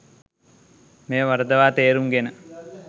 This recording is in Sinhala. මෙය වරදවා තේරුම් ගෙන